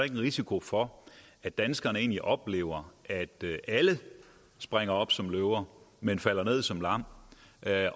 en risiko for at danskerne egentlig oplever at alle springer op som løver men falder ned som lam